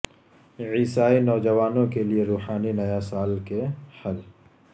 عیسائی نوجوانوں کے لئے روحانی نیا سال کے حل